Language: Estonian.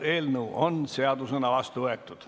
Eelnõu on seadusena vastu võetud.